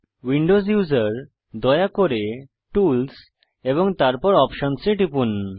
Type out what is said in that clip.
Windows user দয়া করে tools এবং তারপর অপশনস এ টিপুন